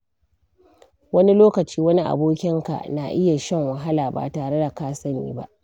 Wani lokaci, wani abokinka na iya shan wahala ba tare da ka sani ba.